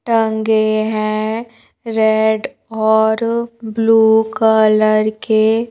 टंगे हैं रेड और ब्लू कलर के--